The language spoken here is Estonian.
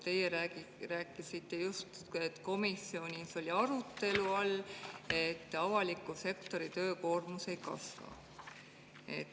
Teie rääkisite justkui, et komisjonis oli arutelu all, et avaliku sektori töökoormus ei kasva.